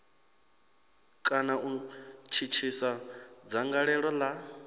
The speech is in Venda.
kana u thithisa dzangalelo la